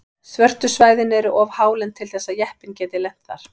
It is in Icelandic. Svörtu svæðin eru of hálend til þess að jeppinn geti lent þar.